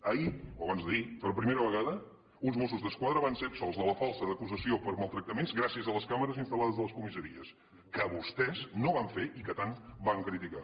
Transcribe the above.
ahir o abans d’ahir per primera vegada uns mossos d’esquadra van ser absolts de la falta d’acusació per maltractaments gràcies a les càmeres instal·lades a les comissaries que vostès no van fer i que tant van criticar